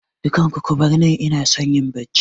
Dukan ku kubar nan, inason yin Bacci